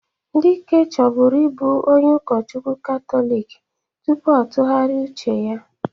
Dike chọbụrụ ịbụ onye ụkọchukwu Katọlik tupu ọ tụgharia uche ya